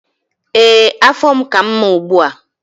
Ee, afọ m ka mma ugbu a.